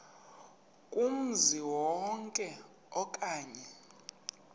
kumzi wonke okanye